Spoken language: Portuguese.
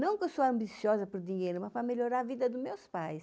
Não que eu sou ambiciosa por dinheiro, mas para melhorar a vida dos meus pais.